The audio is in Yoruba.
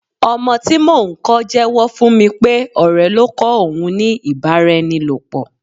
Ọmọ tí mò ń kó jewo fún mi pé ọ̀rẹ́ ló kọ́ òun ní ibaraenilopo.